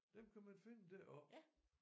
Dem kan man finde deroppe